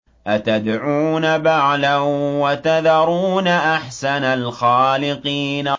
أَتَدْعُونَ بَعْلًا وَتَذَرُونَ أَحْسَنَ الْخَالِقِينَ